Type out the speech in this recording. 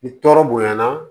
Ni tɔɔrɔ bonya na